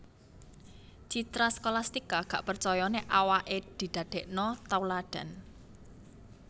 Citra Scholastika gak percoyo nek awak e didadekno tauladan